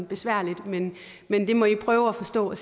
besværligt men men det må i prøve at forstå og